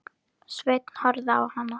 Sveinn horfði á hana.